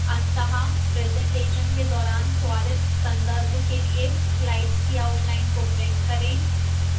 अंततः presentation के दौरान त्वरित संदर्भ के लिए slides की outline को print करें